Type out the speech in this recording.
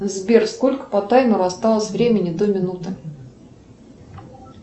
сбер сколько по таймеру осталось времени до минуты